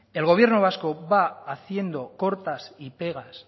el gobierno vasco va haciendo cortas y pegas